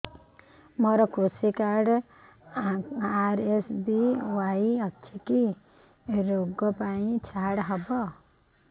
ମୋର କୃଷି card RSBY ଅଛି କି କି ଋଗ ପାଇଁ ଛାଡ଼ ହବ